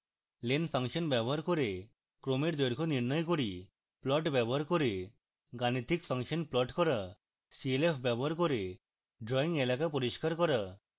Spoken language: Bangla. len ফাংশন ব্যবহার করে ক্রমের দৈর্ঘ্য নির্ণয় করি